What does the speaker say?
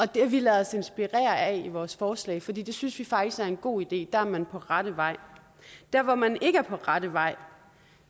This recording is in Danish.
det har vi ladet os inspirere af i vores forslag for det synes vi faktisk er en god idé der er man på rette vej der hvor man ikke er på rette vej